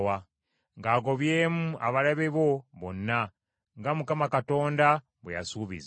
ng’agobyemu abalabe bo bonna, nga Mukama Katonda bwe yasuubiza.